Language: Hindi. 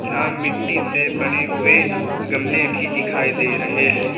यहां मिट्टी से बने हुए गमले भी दिखाई दे रहे हैं ।